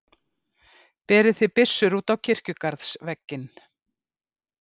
Berið þið byssur út á kirkjugarðsvegginn.